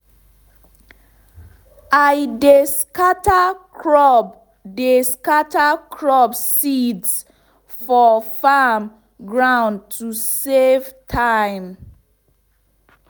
i dey scatter crop dey scatter crop seeds for farm ground to safe time